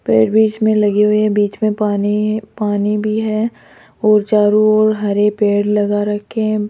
पेड़ बीच में लगे हुए है बीच में पानी पानी भी है और चारों ओर हरे पेड़ लगा रखे हैं।